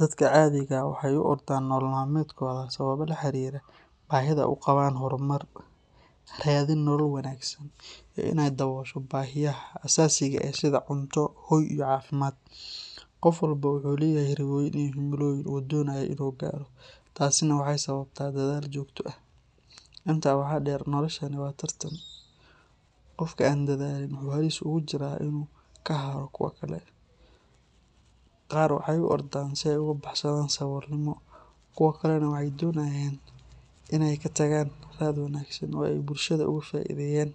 Dadka caadiga ah waxay u ordaan nolol maalmeedkooda sababo la xiriira baahida ay u qabaan horumar, raadin nolol wanaagsan, iyo in ay daboosho baahiyaha aasaasiga ah sida cunto, hoy, iyo caafimaad. Qof walba wuxuu leeyahay riyooyin iyo himilooyin uu doonayo in uu gaaro, taasina waxay sababtaa dadaal joogto ah. Intaa waxaa dheer, noloshani waa tartan, qofka aan dadaalin wuxuu halis ugu jiraa in uu ka haro kuwa kale. Qaar waxay u ordaan si ay uga baxsadaan saboolnimo, kuwo kalena waxay doonayaan in ay ka tagaan raad wanaagsan oo ay bulshada uga faa’iideeyaan.